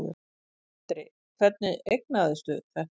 Andri: Hvernig eignaðistu þetta?